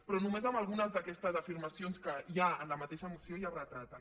però només amb algunes d’aquestes afirmacions que hi ha en la mateixa moció ja es retraten